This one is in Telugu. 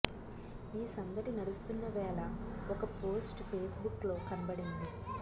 ఈ సందడి నడుస్తున్న వేళ ఒక పోస్టు ఫేస్బుక్ లో కనబడింది